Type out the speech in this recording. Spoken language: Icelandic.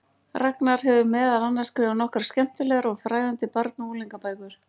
Ragnar hefur meðal annars skrifað nokkrar skemmtilegar og fræðandi barna- og unglingabækur.